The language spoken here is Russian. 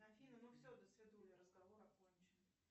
афина ну все досвидули разговор окончен